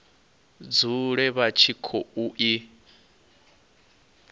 dzule vha tshi khou i